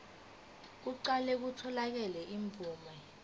kuqale kutholakale imvume